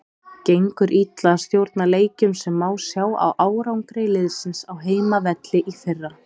Gengur illa að stjórna leikjum sem má sjá á árangri liðsins á heimavelli í fyrra.